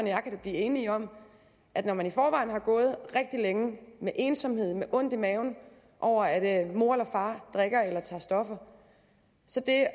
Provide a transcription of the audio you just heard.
jeg kan blive enige om at når man i forvejen har gået rigtig længe med ensomhed og med ondt i maven over at mor eller far drikker eller tager stoffer